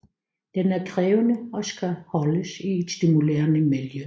Den er krævende og skal holdes i et stimulerende miljø